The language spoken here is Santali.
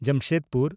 ᱡᱟᱢᱥᱮᱫᱽᱯᱩᱨ